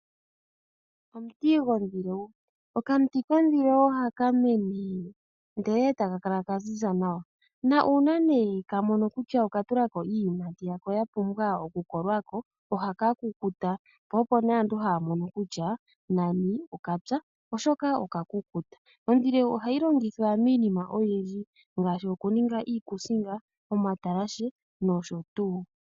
Omuti gondhilewu. Okamuti kondhilewu ohaka mene ndele e taka kala ka ziza nawa. Na uuna nee kamono kutya okatula ko iiyimati yako ya pumbwa okukolwa ko, ohaka kukuta po opo nee aantu haya mono kutya nani okapya, oshoka okakukuta. Ondhilewu ohayi longithwa miiinima oyindji ngaashi okuninga iikusinga, omatalashe nosho tuu.